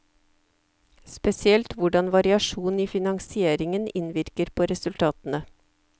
Spesielt hvordan variasjon i finansieringen innvirker på resultatene.